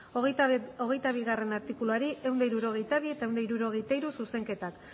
hogeita bigarrena artikuluari ehun eta hirurogeita bi eta ehun eta hirurogeita hiru zuzenketak